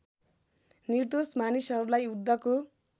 निर्दोष मानिसहरूलाई युद्धको